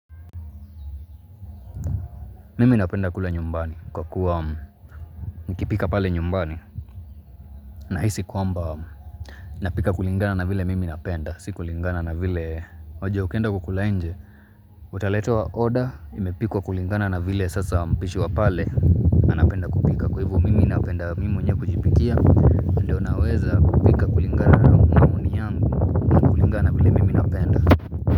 Mimi napenda kule nyumbani kwa kuwa mkipika pale nyumbani nahisi kwamba napika kulingana na vile mimi napenda si kulingana na vile unajua ukienda kukula nje utaletewa oda imepikwa kulingana na vile sasa mpishi wa pale napenda kupika kwa hivo mimi napenda mimi mwenyewe kujipikia na ndio naweza kupika kulingana na maoni yangu na kulingana na vile mimi napenda.